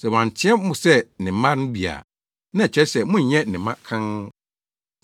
Sɛ wanteɛ mo sɛ ne mma no bi a, na ɛkyerɛ sɛ monnyɛ ne mma kann.